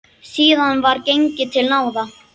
Síðan var gengið til náða.